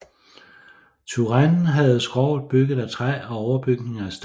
Turenne havde skroget bygget af træ og overbygningen af stål